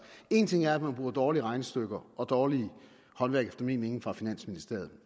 en ting er at man bruger dårlige regnestykker og dårligt håndværk efter min mening fra finansministeriet